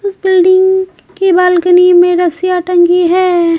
इस बिल्डिंग की बालकनी में रसिया टंगी है।